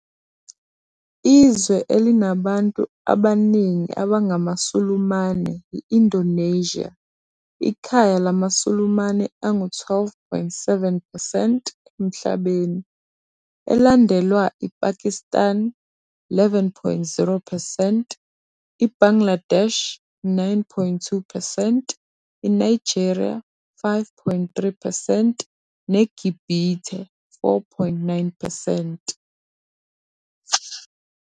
Izwe elinabantu abaningi abangamaSulumane yi-Indonesia, ikhaya lamaSulumane angu-12.7 percent emhlabeni, elandelwa iPakistan, 11.0 percent, iBangladesh, 9.2 percent, iNigeria, 5.3 percent, neGibhithe, 4.9 percent.